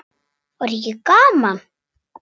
Var ekki gaman?